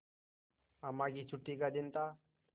अम्मा की छुट्टी का दिन था